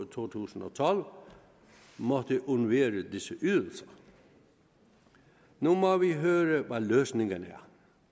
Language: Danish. to tusind og tolv måtte undvære disse ydelser nu må vi høre hvad løsningen er